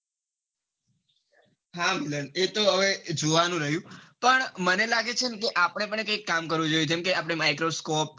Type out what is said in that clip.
હા એતો હવે જોવાનું રહ્યું પણ મને લાગે છે કે આપડે પણ કૈક કામ કરવું જોઈએ જેમ કે microscope